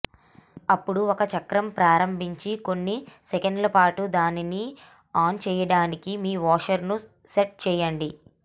అప్పుడు ఒక చక్రం ప్రారంభించి కొన్ని సెకన్లపాటు దానిని ఆన్ చేయడానికి మీ వాషర్ను సెట్ చేయండి